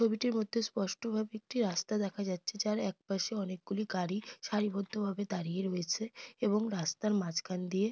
ছবিটির মধ্যে স্পষ্টভাবে একটি রাস্তা দেখা যাচ্ছে যার এক পাশে অনেকগুলি গাড়ি সারিবদ্ধ ভাবে দাঁড়িয়ে রয়েছে এবং রাস্তার মাঝখান দিয়ে --